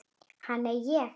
Ha, nei, ég?